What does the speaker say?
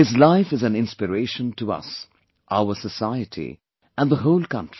His life is an inspiration to us, our society and the whole country